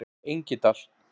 Engidal